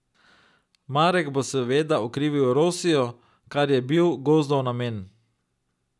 Marek bo seveda okrivil Rosijo, kar je bil Gozdov namen.